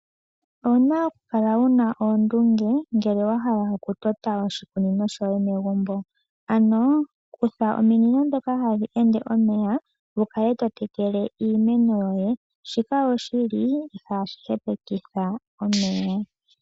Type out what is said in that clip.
Owu na okukala wuna oondunge uuna wa hala okutota oshikunino shoye megumbo ano kutha ominino ndhoka hadhi ende omeya wu kale totekele iimeno yoye shika oshi li ihashi hepekitha omeya.